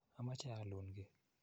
Amache aalun ki.